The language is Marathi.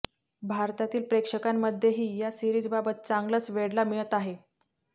भारतातील प्रेक्षकांमध्येही या सीरिजबाबत चांगलंच वेड ला मिळत आहे